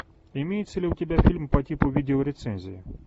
имеется ли у тебя фильм по типу видеорецензии